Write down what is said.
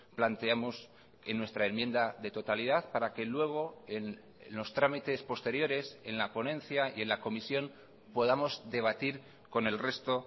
planteamos en nuestra enmienda de totalidad para que luego en los trámites posteriores en la ponencia y en la comisión podamos debatir con el resto